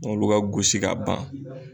N'olu ka gosi ka ban.